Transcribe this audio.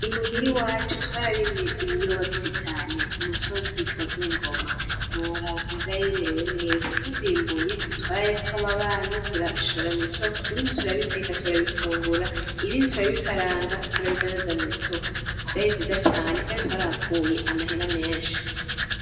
Imuhira iwacu twararimye ibiyoba vyinshi cane ku musozi wa rwingoma ntiwobara ukuntu vyari bimerewe neza tuvyimbuye twarahayeko kwababanyi turabishora mw'isoko ibindi turabiteka turabifungura ibindi turabikaranga turabidandaza mw'isoko vyari vyiza cane kandk twarahakuye amahera menshi